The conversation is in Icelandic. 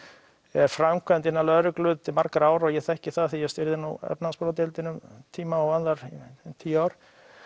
er framkvæmt innan lögreglu til margra ára og ég þekki það því ég stýrði nú efnahagsbrotadeildinni um tíma og annarri í tíu ár